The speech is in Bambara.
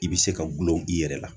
I be se ka gulon i yɛrɛ la